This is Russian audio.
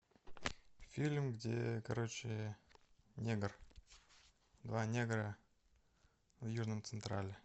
фильм где короче негр два негра в южном централе